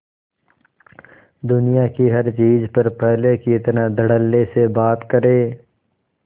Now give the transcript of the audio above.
दुनिया की हर चीज पर पहले की तरह धडल्ले से बात करे